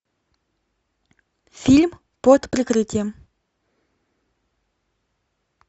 фильм под прикрытием